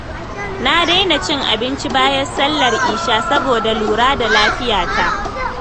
Na daina cin abinci bayan Sallar Isha saboda lura da lafiyata.